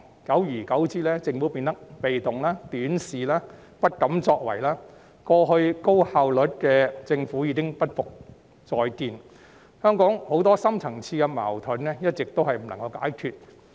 久而久之，政府變得被動、短視、不敢作為，過去高效率的政府已不再復見，香港很多深層次矛盾一直未能解決。